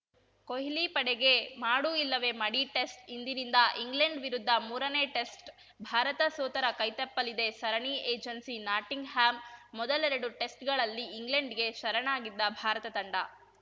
ಕೊಹ್ಲಿ ಪಡೆಗೆ ಮಾಡು ಇಲ್ಲವೇ ಮಡಿ ಟೆಸ್ಟ್ ಇಂದಿನಿಂದ ಇಂಗ್ಲೆಂಡ್‌ ವಿರುದ್ಧ ಮೂರನೇ ಟೆಸ್ಟ್ ಭಾರತ ಸೋತರೆ ಕೈತಪ್ಪಲಿದೆ ಸರಣಿ ಏಜೆನ್ಸಿ ನಾಟಿಂಗ್‌ಹ್ಯಾಮ್‌ ಮೊದಲೆರಡು ಟೆಸ್ಟ್‌ಗಳಲ್ಲಿ ಇಂಗ್ಲೆಂಡ್‌ಗೆ ಶರಣಾಗಿದ್ದ ಭಾರತ ತಂಡ